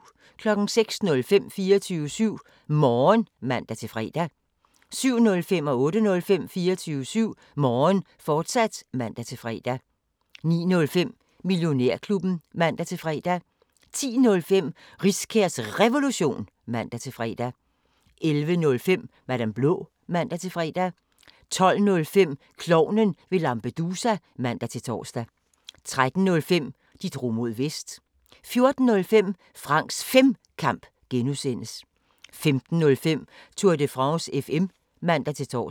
06:05: 24syv Morgen (man-fre) 07:05: 24syv Morgen, fortsat (man-fre) 08:05: 24syv Morgen, fortsat (man-fre) 09:05: Millionærklubben (man-fre) 10:05: Riskærs Revolution (man-fre) 11:05: Madam Blå (man-fre) 12:05: Klovnen fra Lampedusa (man-tor) 13:05: De drog mod Vest 14:05: Franks Femkamp (G) 15:05: Tour de France FM (man-tor)